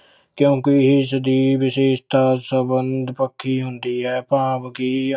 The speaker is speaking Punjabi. ਕਿਉਂਕਿ ਇਸਦੀ ਵਿਸ਼ੇਸ਼ਤਾ ਸੰਬੰਧ ਪੱਖੀ ਹੁੰਦੀ ਹੈ ਭਾਵ ਕਿ